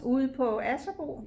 Ude på Asserbo